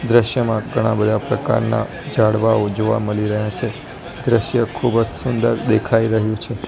દ્રશ્યમાં ઘણા બધા પ્રકારના ઝાડવાઓ જોવા મળી રહ્યા છે દ્રશ્ય ખૂબ જ સુંદર દેખાઈ રહ્યું છે.